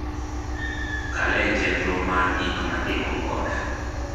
kalee chenro mar gik matimo koda